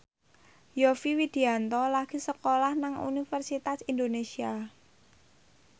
Yovie Widianto lagi sekolah nang Universitas Indonesia